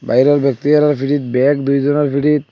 ব্যক্তি পিঠীত ব্যাগ দুইজনার পিঠীত ।